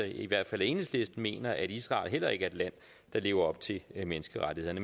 i hvert fald enhedslisten mener at israel heller ikke er et land der lever op til menneskerettighederne